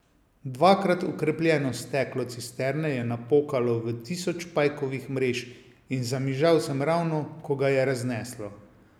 Dvakrat okrepljeno steklo cisterne je napokalo v tisoč pajkovih mrež in zamižal sem ravno, ko ga je razneslo.